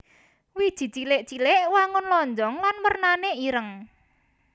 Wiji cilik cilik wangun lonjong lan wernané ireng